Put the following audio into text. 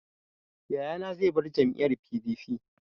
Yayana zai bar jam'iyyar PDP.